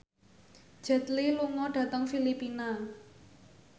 Jet Li lunga dhateng Filipina